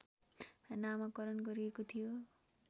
नामकरण गरिएको थियो